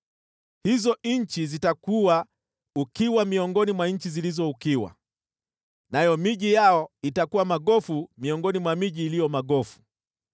“ ‘Hizo nchi zitakua ukiwa miongoni mwa nchi zilizo ukiwa, nayo miji yao itakuwa magofu miongoni mwa miji iliyo magofu.